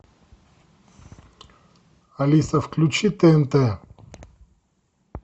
алиса включи тнт